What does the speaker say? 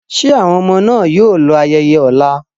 Ṣé àwọn ọmọ náà yóò lọ ayẹyẹ ọ̀la?